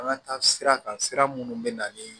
An ka taa sira kan sira minnu bɛ na ni